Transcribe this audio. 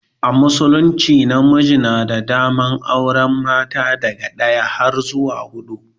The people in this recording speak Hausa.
A musulunci namiji yana da daman auren mata daga daya har zuwa hudu.